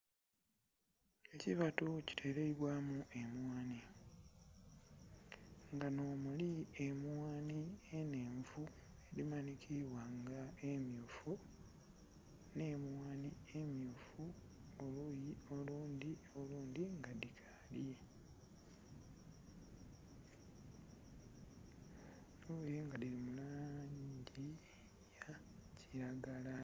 Ekibatu kiteleibwamu emwaanhi nga nho muli emwanhi enhenvu edhimanhikiibwa nga emyufu nhe mwaanhi emyufu oluyi olundhi olundhi nga dhikaali oluyi nga dhili mu langi eyakilagala.